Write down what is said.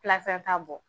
ta bɔ